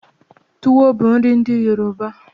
Tuwo bu nri ndi Yoruba